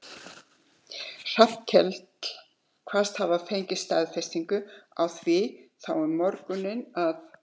Hallkell kvaðst hafa fengið staðfestingu á því þá um morguninn að